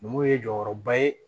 Ninnu ye jɔyɔrɔba ye